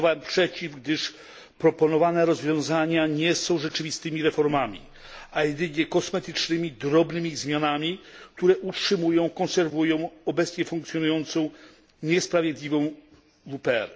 Głosowałem przeciw, gdyż proponowane rozwiązania nie są rzeczywistymi reformami, a jedynie kosmetycznymi, drobnymi zmianami, które utrzymują, konserwują obecnie funkcjonującą, niesprawiedliwą WPR.